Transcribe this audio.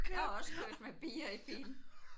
Jeg har også kørt med bier i bilen